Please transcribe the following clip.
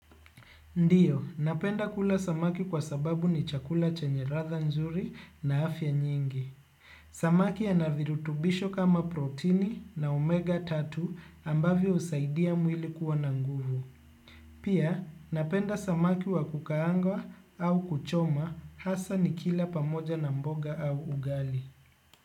Ndio, napenda kula samaki kwa sababu ni chakula chenye latha nzuri na afya nyingi. Samaki yana virutubisho kama protini na omega tatu ambavyo husaidia mwili kuwa na nguvu. Pia, napenda samaki wa kukaangwa au kuchomwa hasa nikila pamoja na mboga au ugali.